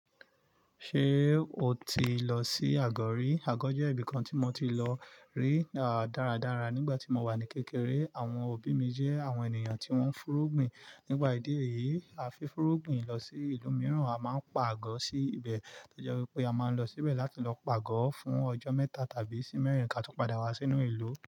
Ṣé o ti lọ sí Àgọ̀ rí? Àgọ̀ jẹ́ ibìkan tí mo ti lọ rí dáradára nígbà tí mo wà ní kékeré. Àwọn òbí mi jẹ́ àwọn ènìyàn tí wọ́n ń fúrúgbìn. Nípa ìdí èyí, a fi fúrúgbìn lọ sí ìlú mìíràn. A máa ń pàgọ́ sí ibẹ̀, tọ́jewipe a máa ń lọ síbẹ̀ láti lọ pàgọ́ fún ọjọ́ mẹ́ta tàbí sí mẹ́rin ká tó padà wá sínú ìlú.